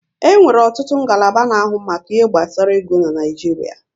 E nwere ọtụtụ ngalaba na-ahụ maka ihe gbasara ego n'Naijiria